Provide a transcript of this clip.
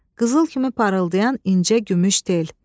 qızıl kimi parıldayan incə gümüş tel.